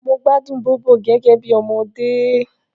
Mo gbádùn Bóbò gẹ́gẹ́ bí ọmọdé